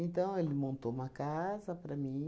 ele montou uma casa para mim.